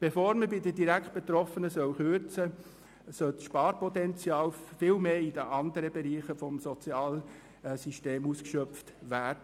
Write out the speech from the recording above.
Bevor bei den direkt Betroffenen gekürzt wird, soll das Sparpotenzial viel mehr in anderen Bereichen des Sozialsystems ausgeschöpft werden.